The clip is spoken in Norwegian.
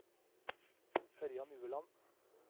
Ørjan Ueland